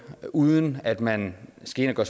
uden at man skal ind og